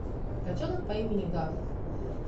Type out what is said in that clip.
котенок по имени гав